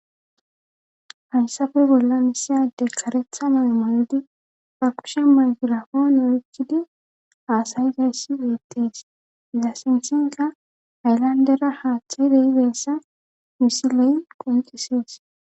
Hayssafe bolla misiyade karetha name mayodi ba kushe maygirafoona oykkidi aasayi dayssi yeettees iza sinsinka aylandera haaththeyreigeyssa misiley qunxisees